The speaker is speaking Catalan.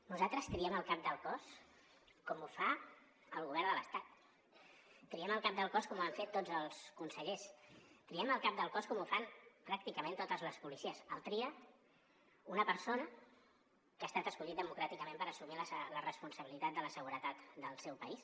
nosaltres triem el cap del cos com ho fa el govern de l’estat triem el cap del cos com ho han fet tots els consellers triem el cap del cos com ho fan pràcticament totes les policies el tria una persona que ha estat escollida democràticament per assumir la responsabilitat de la seguretat del seu país